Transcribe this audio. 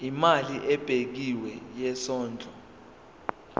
imali ebekiwe yesondlo